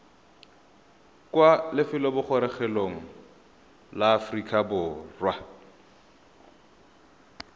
kwa lefelobogorogelong la aforika borwa